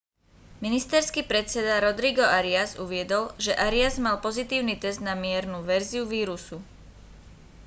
ministerský predseda rodrigo arias uviedol že arias mal pozitívny test na miernu verziu vírusu